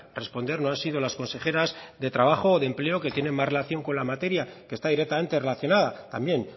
responder no han sido las consejeras de trabajo o de empleo que tienen más relación con la materia que está directamente relacionada también